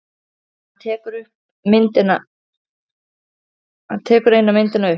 Hann tekur eina myndina upp.